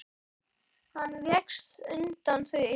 Hann vékst undan því.